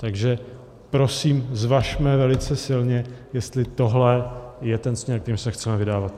Takže prosím, zvažme velice silně, jestli tohle je ten směr, kterým se chceme vydávat.